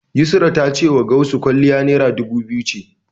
Yusra ta cewa Gausu kwalliya Naira dubu biyu ce.